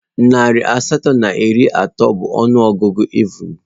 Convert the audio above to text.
Narị asatọ na iri atọ bụ ọnụ ọgụgụ evụn